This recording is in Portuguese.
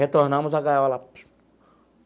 Retornamos a gaiola.